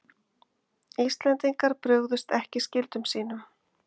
Íslendingar brugðust ekki skyldum sínum